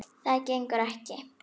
Það gengur ekki!